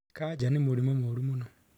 Kaja nĩ mũrimũ mũru mũno